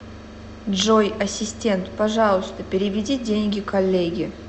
джой ассистент пожалуйста переведи деньги коллеге